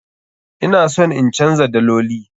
Ina son in canza daloli.